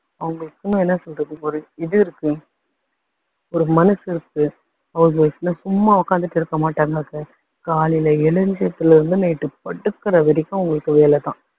அவங்களுக்கும்னா என்ன சொல்றது ஒரு இது இருக்கு, ஒரு மனசு இருக்கு. house wife னா சும்மா உக்காந்துட்டு இருக்க மாட்டாங்க. காலைல எழுந்ததுல இருந்து night படுக்குற வரைக்கும் அவங்களுக்கு வேலை தான்.